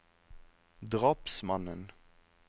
drapsmannen